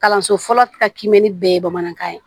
Kalanso fɔlɔ ka kiimɛni bɛɛ ye bamanankan ye